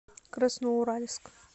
красноуральск